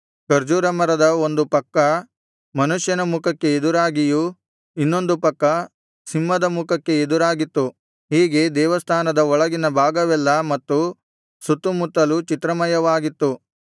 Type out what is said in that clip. ಖರ್ಜೂರ ಮರದ ಒಂದು ಪಕ್ಕ ಮನುಷ್ಯನ ಮುಖಕ್ಕೆ ಎದುರಾಗಿಯೂ ಇನ್ನೊಂದು ಪಕ್ಕ ಸಿಂಹದ ಮುಖಕ್ಕೆ ಎದುರಾಗಿತ್ತು ಹೀಗೆ ದೇವಸ್ಥಾನದ ಒಳಗಿನ ಭಾಗವೆಲ್ಲಾ ಮತ್ತು ಸುತ್ತುಮುತ್ತಲೂ ಚಿತ್ರಮಯವಾಗಿತ್ತು